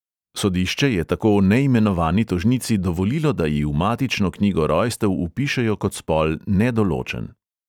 Sodišče je tako neimenovani tožnici dovolilo, da ji v matično knjigo rojstev vpišejo kot spol nedoločen.